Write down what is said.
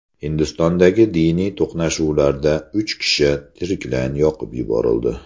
Hindistondagi diniy to‘qnashuvlarda uch kishi tiriklayin yoqib yuborildi.